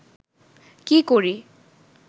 কী করি